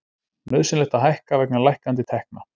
Nauðsynlegt að hækka vegna lækkandi tekna